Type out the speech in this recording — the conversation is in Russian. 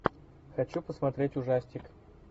хочу посмотреть ужастик